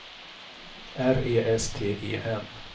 R E S T E N